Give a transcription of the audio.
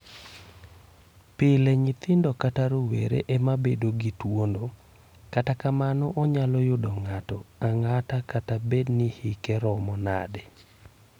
Pile nyithindo kata rowere ema bedo gi tuwono, kata kamano, onyalo yudo ng'ato ang'ata kata bed ni hike romo nade.